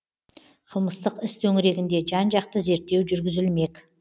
қылмыстық іс төңірегінде жан жақты зерттеу жүргізілмек